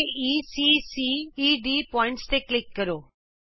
aeਸੀ ceਡ ਬਿੰਦੂਆਂ ਤੇ ਕਲਿਕ ਕਰੋ